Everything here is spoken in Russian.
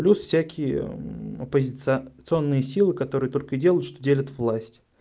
плюс всякие оппозиционные силы которые только что и делают что делят власть